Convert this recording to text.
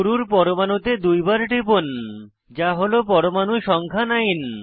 শুরুর পরমাণুতে দুইবার টিপুন যা হল পরমাণু সংখ্যা 9